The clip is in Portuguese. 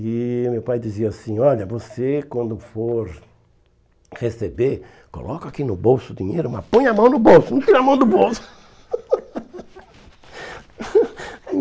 E o meu pai dizia assim, olha, você quando for receber, coloca aqui no bolso o dinheiro, mas põe a mão no bolso, não tira a mão do bolso.